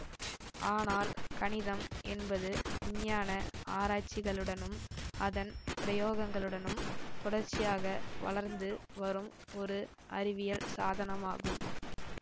ஆனால் கணிதம் என்பது விஞ்ஞான ஆராய்ச்சிகளுடனும் அதன் பிரயோகங்களுடனும் தொடர்ச்சியாக வளர்ந்து வரும் ஒரு அறிவியல் சாதனமாகும்